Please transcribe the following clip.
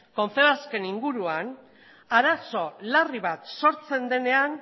confebask en inguruan arazo larri bat sortzen denean